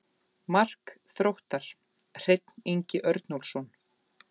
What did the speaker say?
Mark Þróttar: Hreinn Ingi Örnólfsson.